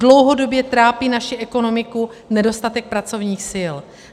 Dlouhodobě trápí naši ekonomiku nedostatek pracovních sil.